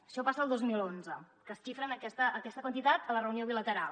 això passa el dos mil onze que es xifra aquesta quantitat a la reunió bilateral